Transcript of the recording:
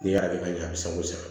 N'i y'a kɛ ka ɲɛ a bi se ko sa